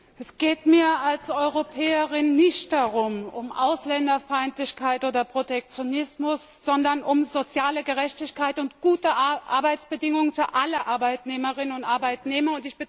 Herr Präsident! Es geht mir als Europäerin nicht um Ausländerfeindlichkeit oder Protektionismus, sondern um soziale Gerechtigkeit und gute Arbeitsbedingungen für alle Arbeitnehmerinnen und Arbeitnehmer.